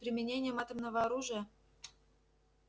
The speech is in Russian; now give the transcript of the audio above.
с применением атомного оружия